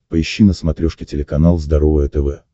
поищи на смотрешке телеканал здоровое тв